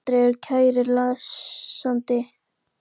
Á hvaða aldri ertu kæri lesandi?